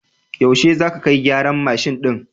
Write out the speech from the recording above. Yaushe za ka kai gyaran mashin ɗin?